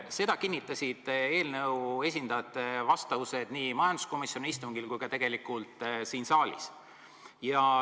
Seda kinnitasid eelnõu algataja esindajate vastused nii majanduskomisjoni istungil kui ka siin saalis.